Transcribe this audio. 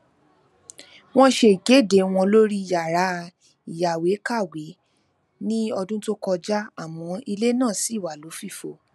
wọn ṣe ikede wọn lori yara iyaweekawe ni ọdun to kọja amọ ilẹ naa ṣi wa lofifo